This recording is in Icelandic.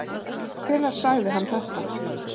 Hvenær sagði hann þetta?